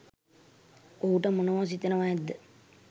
ඔහුට මොනවා සිතෙනවා ඇද්ද?